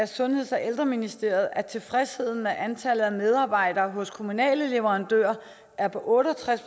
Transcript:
sundheds og ældreministeriet at tilfredsheden med antallet af medarbejdere hos kommunale leverandører er på otte og tres